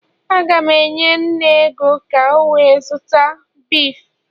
Agam enye nne ego ka o were zuta beef